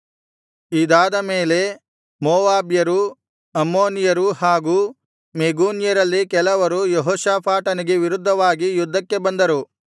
ಇದಾದ ಮೇಲೆ ಮೋವಾಬ್ಯರೂ ಅಮ್ಮೋನಿಯರೂ ಹಾಗೂ ಮೆಗೂನ್ಯರಲ್ಲಿ ಕೆಲವರೂ ಯೆಹೋಷಾಫಾಟನಿಗೆ ವಿರುದ್ಧವಾಗಿ ಯುದ್ಧಕ್ಕೆ ಬಂದರು